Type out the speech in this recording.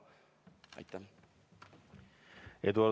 Aitäh!